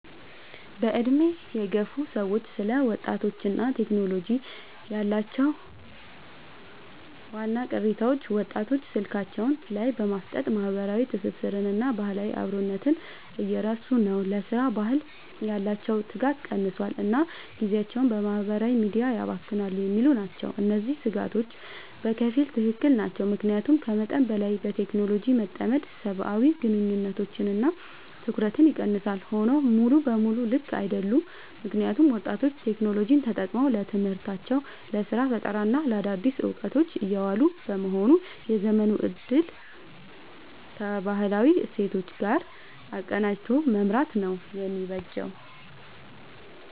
በዕድሜ የገፉ ሰዎች ስለ ወጣቶችና ቴክኖሎጂ ያላቸው ዋና ቅሬታዎች፦ ወጣቶች ስልካቸው ላይ በማፍጠጥ ማህበራዊ ትስስርንና ባህላዊ አብሮነትን እየረሱ ነው: ለሥራ ባህል ያላቸው ትጋት ቀንሷል: እና ጊዜያቸውን በማህበራዊ ሚዲያ ያባክናሉ የሚሉ ናቸው። እነዚህ ስጋቶች በከፊል ትክክል ናቸው። ምክንያቱም ከመጠን በላይ በቴክኖሎጂ መጠመድ ሰብአዊ ግንኙነቶችንና ትኩረትን ይቀንሳል። ሆኖም ሙሉ በሙሉ ልክ አይደሉም: ምክንያቱም ወጣቶች ቴክኖሎጂን ተጠቅመው ለትምህርታቸው: ለስራ ፈጠራና ለአዳዲስ እውቀቶች እያዋሉት በመሆኑ የዘመኑን እድል ከባህላዊ እሴቶች ጋር አቀናጅቶ መምራት ነው የሚበጀው።